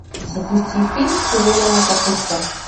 запусти фильм серебряное копытце